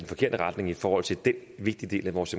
forkerte retning i forhold til den vigtige del af vores